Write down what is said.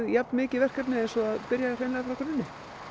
jafnmikið verkefni eins og að byrja frá grunni